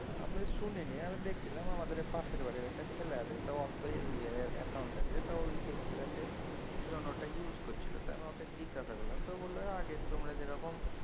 আমি শুনিনি। আমি দেখছিলাম আমাদের পাশের বাড়ির একটা ছেলে আছে। তো ওর SBI এর অ্যাকাউন্ট তো দেখছিলাম EON ওটা use করছিল তো আমি ওকে জিজ্ঞাসা করলাম তো ও বলল আগে তোমরা যেরকম